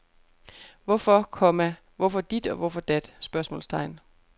Hvorfor, komma hvorfor dit og hvorfor dat? spørgsmålstegn